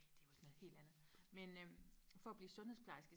nej det er jo ikke noget helt andet men øh for og blive sundhedsplejerske